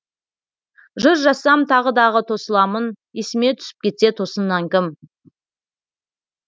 жыр жазсам тағы дағы тосыламын есіме түсіп кетсе тосыннан кім